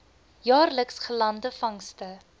jaarliks gelande vangste